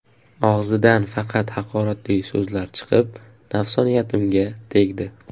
Og‘zidan faqat haqoratli so‘zlar chiqib, nafsoniyatimga tegdi.